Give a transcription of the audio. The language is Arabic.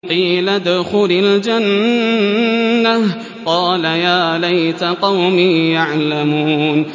قِيلَ ادْخُلِ الْجَنَّةَ ۖ قَالَ يَا لَيْتَ قَوْمِي يَعْلَمُونَ